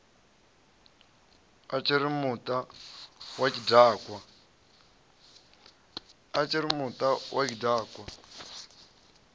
a tshiri muta wa tshidakwa